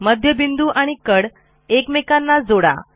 मध्यबिंदू आणि कड एकमेकांना जोडा